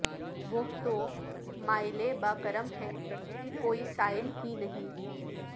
وہ تو مائل بہ کرم ہے کوئی سائل ہی نہیں